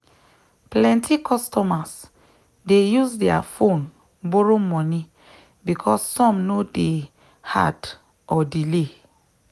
plenty customers dey use their phone borrow moni because some no day hard or delay.